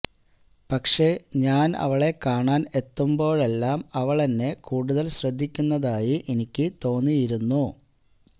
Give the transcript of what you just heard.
പക്ഷെ ഞാന് അവളെ കാണാന് എത്തുമ്പോളെല്ലാം അവളെന്നെ കൂടുതല് ശ്രദ്ധിക്കുന്നതായി എനിക്ക് തോന്നിയിരുന്നു